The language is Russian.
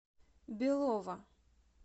белово